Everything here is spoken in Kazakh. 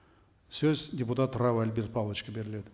сөз депутат рау альберт павловичке беріледі